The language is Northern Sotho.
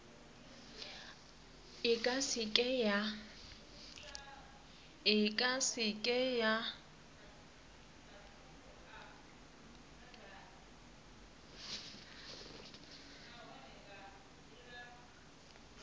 e ka se ke ya